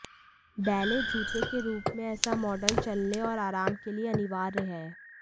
ballet जूते के रूप में ऐसा मॉडल चलने और आराम के लिए अनिवार्य है